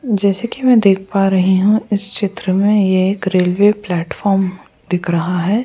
जैसे कि मैं देख पा रही हूं इस चित्र में ये एक रेलवे प्लेटफार्म दिख रहा है।